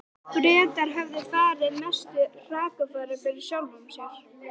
Bretar höfðu farið mestu hrakfarir fyrir sjálfum sér.